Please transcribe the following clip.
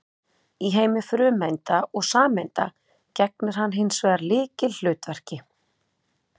Í heimi frumeinda og sameinda gegnir hann hins vegar lykilhlutverki.